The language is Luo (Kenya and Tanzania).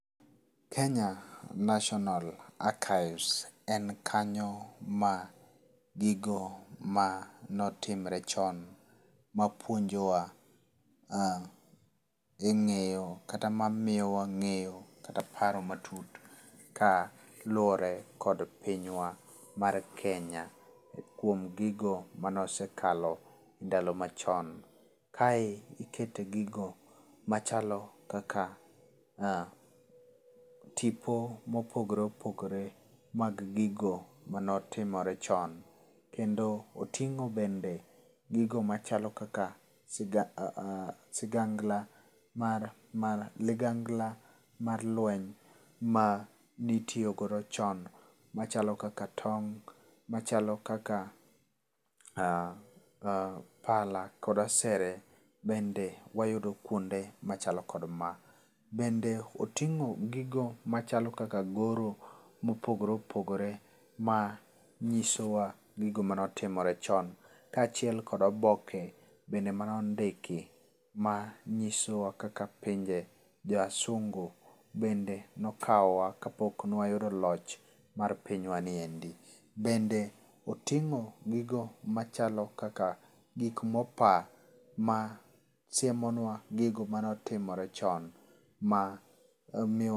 Kenya National Archives en kanyo ma gigo manotimre chon mapuonjowa ah e ng'eyo kata ma miyo wang'eyo kata paro matut kaluwore kod pinywa mar Kenya kuom gigo mane osekalo ndalo machon. Kae ikete gigo machalo kaka ah tipo mopogore opogore mag gigo manotimore chon kendo oting'o bende gigo machalo kaka siga, sigangla mar, ligangla mar lueny ma ne itiyo godo chon machalo kaka tong', machalo kaka ah ah pala kod asere bende wayudo kuonde machalo kod ma. Bende oting'o gigo machalo kaka goro mopogore opogore ma nyisowa gigo manotimore chon kaachiel kod oboke bende mane ondiki ma nyisowa kaka pinje jowasungu bende ne okawowa kapok ne wayudo loch mar pinywa ni endi. Bende oting'o gigo machalo kaka gik mopaa ma siemonwa gigo mane otimore chon ma omiyo